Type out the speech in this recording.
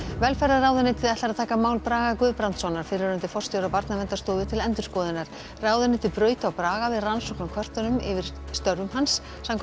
velferðarráðuneytið ætlar að taka mál Braga Guðbrandssonar fyrrverandi forstjóra Barnaverndarstofu til endurskoðunar ráðuneytið braut á Braga við rannsókn á kvörtunum yfir störfum hans samkvæmt